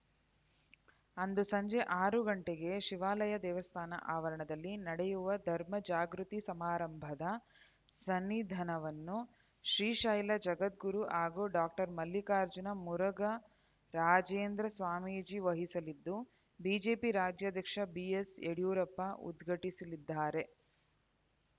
ಅಂದು ಸಂಜೆ ಆರು ಗಂಟೆಗೆ ಶಿವಾಲಯ ದೇವಸ್ಥಾನ ಆವರಣದಲ್ಲಿ ನಡೆಯುವ ಧರ್ಮ ಜಾಗೃತಿ ಸಮಾರಂಭದ ಸಾನಿಧ್ಯವನ್ನು ಶ್ರೀಶೈಲ ಜಗದ್ಗುರು ಹಾಗೂ ಡಾಕ್ಟರ್ ಮಲ್ಲಿಕಾರ್ಜುನ ಮುರುಘಾ ರಾಜೇಂದ್ರ ಸ್ವಾಮೀಜಿ ವಹಿಸಲಿದ್ದು ಬಿಜೆಪಿ ರಾಜ್ಯಾಧ್ಯಕ್ಷ ಬಿಎಸ್‌ಯಡಿಯೂರಪ್ಪ ಉದ್ಘಟಿಸಲಿದ್ದಾರೆ